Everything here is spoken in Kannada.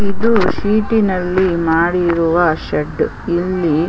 ಇದು ಸೀಟಿನಲ್ಲಿ ಮಾಡಿರುವ ಒಂದು ಶೆಡ್ ಇಲ್ಲಿ --